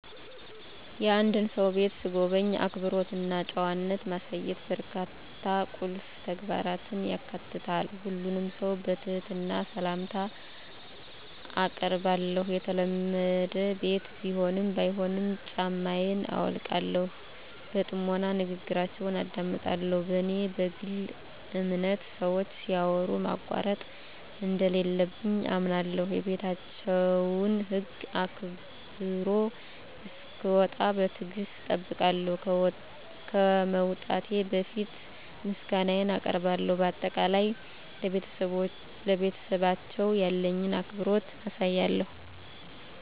የአንድን ሰው ቤት ስጎበኝ፣ አክብሮት እና ጨዋነት ማሳየት በርካታ ቁልፍ ተግባራትን ያካትታል። ሁሉንም ሰው በትህትና ሰላምታ አአቀርባለሁ፣ የተለመደ ቤት ቢሆንም ባይሆንም ጫማየን አውልቃለሁ። በጥሞና ንግግራችውን አደምጣለሁ፣ በኔ በግል አምነት ሰወች ሲያወሩ ማቋረጥ እንደለለብኝ አምነለሁ። የቤታቸውን ህግ አክብሮ እሰክወጣ በትግሰት እጠብቃለሁ፣ ከመውጣቴ በፈት ምሰጋነየን አቀርባለሁ በአጠቃላይ፣ ለቤተሰባቸው ያለኝን አክብሮት አሳያለሁ።